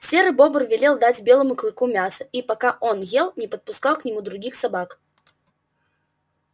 серый бобр велел дать белому клыку мяса и пока он ел не подпускал к нему других собак